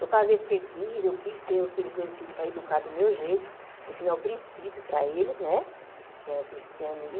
Eu casei porque quis, eu quis ter aqueles dois filhos para educar do meu jeito, ensinar o princípio para eles, né que é o cristianismo.